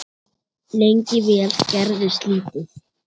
Lengi vel gerðist lítið.